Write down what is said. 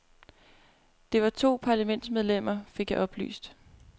Det var to parlamentsmedlemmer, fik jeg oplyst.